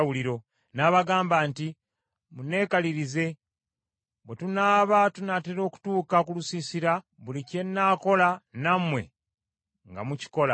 N’abagamba nti, “Munnekalirize, bwe tunaaba tunaatera okutuuka ku lusiisira buli kye nnaakola nammwe nga mukikola.